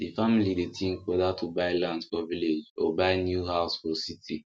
the family dey think whether to buy land for village or buy new house for city